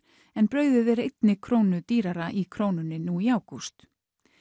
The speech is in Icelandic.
en brauðið er einni krónu dýrara í Krónunni nú í ágúst